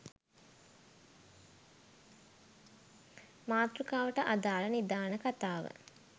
මාතෘකාවට අදාළ නිදාන කතාව